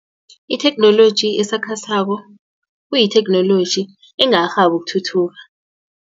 Itheknoloji esakhasako kuyitheknoloji engakarhabi ukuthuthuka.